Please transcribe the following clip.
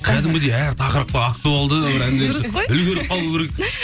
кәдімгідей әр тақырыпқа актуалды үлгеріп қалу керек